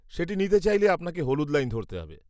সেটি নিতে চাইলে আপনাকে হলুদ লাইন ধরতে হবে।